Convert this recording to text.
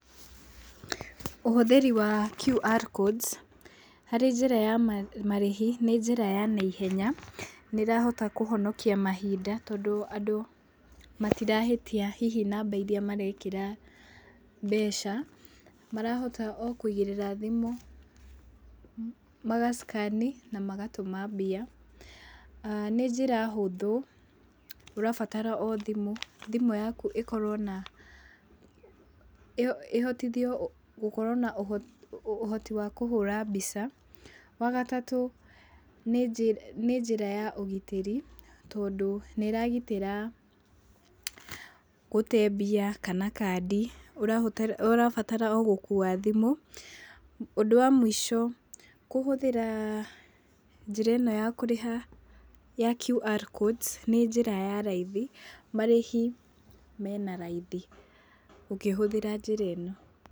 Ũhũthĩri wa QR codes harĩ njĩra ya marĩhi nĩ njĩra ya na ihenya, nĩĩrahota kũhonokia mahinda tondũ, andũ matirahĩtia hihi namba irĩa marekĩra mbeca, marahota o kũigĩrĩra thimũ, maga scan na magatũma mbia. Aah nĩ njĩra hũthũ ũrabatara o thimũ, thimũ yaku ihotithio gũkorwo na ũhoti wa kũhũra mbica. Wa gatatũ, nĩ njĩra ya ũgitĩri, tondũ nĩĩragitĩra gũte mbia kana kandi, ũrabatara o gũkũa thimũ. Ũndũ wa mũico kũhũthĩra njĩra ĩno ya kũrĩha ya QR codes nĩ njĩra ya raithi, marĩhi mena raithi ũkĩhũthĩra njĩra ĩno.